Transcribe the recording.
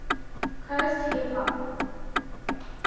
coast hip hop